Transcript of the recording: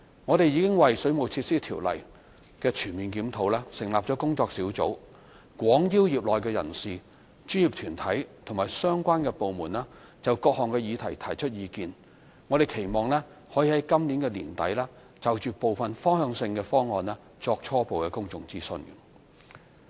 我們已為《水務設施條例》的全面檢討成立工作小組，廣邀業內人士、專業團體及相關部門就各項議題提出意見，期望可在今年年底就部分方向性的方案作初步公眾諮詢。